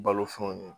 Balo fɛnw ye